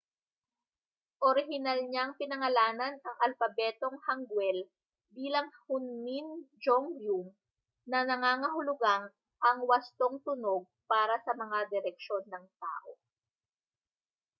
orihinal niyang pinangalanan ang alpabetong hanguel bilang hunmin jeongeum na nangangahulugang ang wastong tunog para sa mga direksyon ng tao